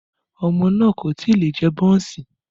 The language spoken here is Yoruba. Ọmọ náà kò tí ì lè jẹ bọ́ọ̀ǹsì